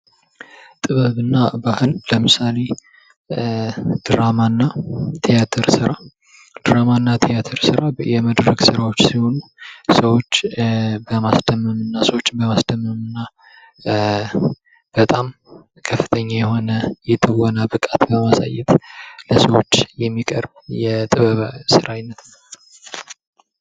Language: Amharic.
ጥበብ እና ባህል ለምሳሌ ፦ ድራማ እና ቲያትር ስራ ፦ ድራማ እና ቲያትር ስራ የመድረክ ስራዎች ሲሆኑ ሰዎችን በማስደመምና በጣም ከፍተኛ የሆነ የትወና ብቃት በማሳየት ለሰዎች የሚቀርብ የጥበብ ስራ አይነት ነው ።